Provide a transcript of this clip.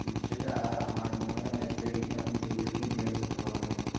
হম সেটা আর আমার মনে হয় না আপনি যে skill গুলানের কথা বললেন